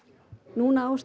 núna á